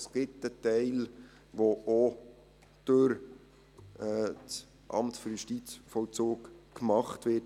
Es gibt einen Teil, der auch durch das AJV gemacht wird.